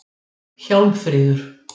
Hjálmfríður